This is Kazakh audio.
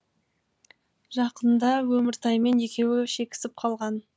жақында өміртаймен екеуі шекісіп қалған